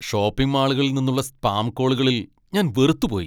Shopping മാളുകളിൽ നിന്നുള്ള spam കോളുകളിൽ ഞാൻ വെറുത്തുപോയി.